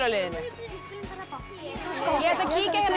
liðinu ég ætla að kíkja hérna